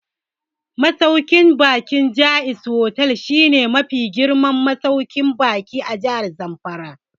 Masauƙin baƙin Jaiz Hotel shi ne mafi girman masauƙin baƙi a Jahar Zamfara